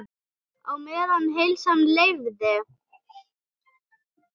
Á meðan heilsan leyfði.